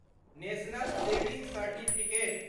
national saving certificate